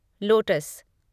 lotus